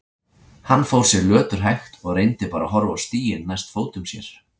Hann fór sér löturhægt og reyndi bara að horfa á stíginn næst fótum sér.